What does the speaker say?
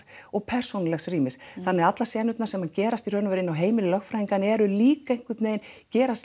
og persónulegs rýmis þannig að allar senurnar sem gerast í raun og veru inni á heimili lögfræðinganna eru líka einhvern veginn gerast